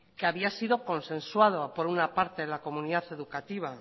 que había sido consensuado por una parte de la comunidad educativa